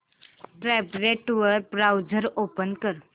tablet वर browser open कर